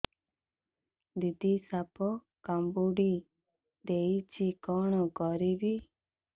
ଦିଦି ସାପ କାମୁଡି ଦେଇଛି କଣ କରିବି